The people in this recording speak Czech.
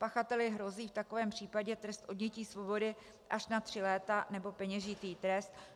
Pachateli hrozí v takovém případě trest odnětí svobody až na tři léta nebo peněžitý trest.